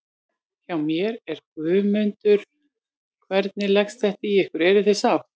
Hjá mér er Guðmundur, hvernig leggst þetta í ykkur, eruð þið sátt?